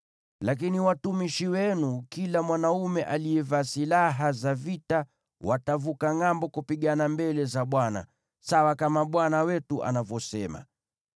Lakini watumishi wenu, kila mwanaume aliyevaa silaha za vita, watavuka ngʼambo kupigana mbele za Bwana , sawa kama bwana wetu anavyosema.”